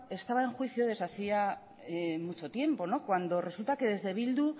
estaba en juicio desde hacía mucho tiempo no cuando resulta que desde bildu